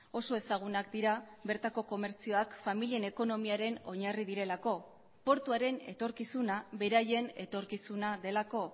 oso ezagunak dira bertako komertzioak familien ekonomiaren oinarri direlako portuaren etorkizuna beraien etorkizuna delako